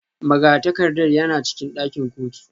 Magatakarda yana cikin ɗakin kotu